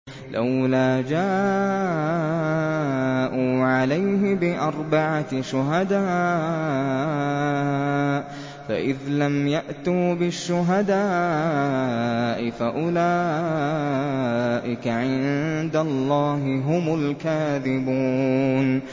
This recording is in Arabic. لَّوْلَا جَاءُوا عَلَيْهِ بِأَرْبَعَةِ شُهَدَاءَ ۚ فَإِذْ لَمْ يَأْتُوا بِالشُّهَدَاءِ فَأُولَٰئِكَ عِندَ اللَّهِ هُمُ الْكَاذِبُونَ